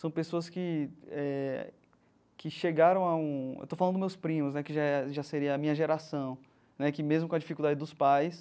São pessoas que eh que chegaram a um... Estou falando dos meus primos né, que já já seria a minha geração né, que, mesmo com a dificuldade dos pais,